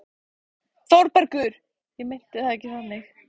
ÞÓRBERGUR: Ég meinti það ekki þannig.